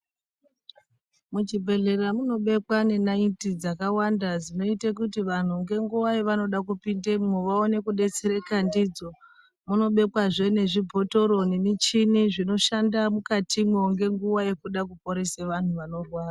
Michibhedhleya munobekwa ngenayiti dzakawanda dzinoite kuti vantu ngenguva yavanode kupindemwo vanewo kudetsereka ndidzo. Vanobekwazve nezvibhotoro nemichini zvinoshanda mwukatimwo ngenguwa yekuda kuporese vantu vanorwara.